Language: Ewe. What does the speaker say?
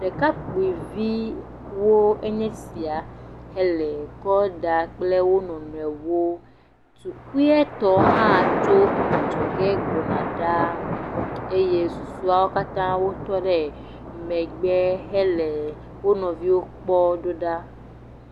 Ɖekakpuiviwo enye esia hele kɔ dm kple wo nɔnɔewo. Tukuitɔ hã tso adzɔge gbɔna ɖaa eye susɔewo katã tɔ ɖe megbe henɔ wo nɔviwo kpɔ ɖo ɖa.